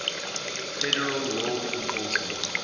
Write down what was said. federal law enforcement